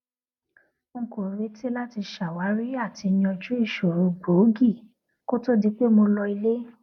n kò retí láti ṣàwárí àti yanjú ìṣòro gbòógì kó to di pé mo lọ ilé